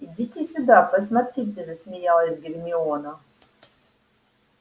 идите сюда посмотрите засмеялась гермиона